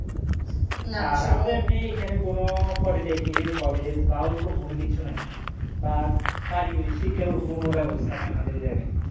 আর আমাদের এমনি এখানে কোন polytechnic এর college বা ওরকম কোন কিছু নাই বা কারিগরি শিক্ষার ওরকমও কোন ব্যবস্থা নাই আমাদের এই জায়গায়